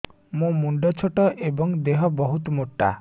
ମୋ ମୁଣ୍ଡ ଛୋଟ ଏଵଂ ଦେହ ବହୁତ ମୋଟା